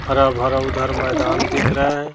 हरा भरा उधर मैदान दिख रहा है।